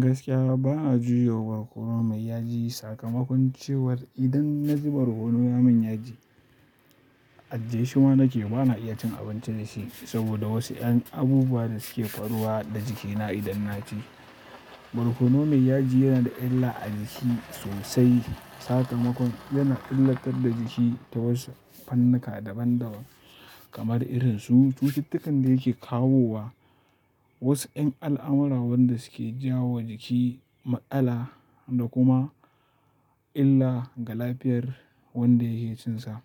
Gaskiya bana jure barkono mai yaji. Sakamakon cewar idan na ji barkono ya min yaji, a jiyeshima nake bana iya cin abinci da shi saboda wasu ƴan abubuwa da suke faruwa da jikina idan na ci. Barkono mai yaji yana da illa a jiki sosai. Sakamakon yana illatar da jiki ta wasu fannuka daban daban kamar irin su cututtukan da yake kawowa, wasu yan al'amura wanda suke jawowa jiki matsala da kuma illa ga lafiyar wanda yake cinsa.